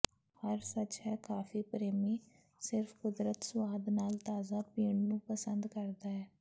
ਹਰ ਸੱਚ ਹੈ ਕਾਫੀ ਪ੍ਰੇਮੀ ਸਿਰਫ ਕੁਦਰਤੀ ਸੁਆਦ ਨਾਲ ਤਾਜ਼ਾ ਪੀਣ ਨੂੰ ਪਸੰਦ ਕਰਦਾ ਹੈ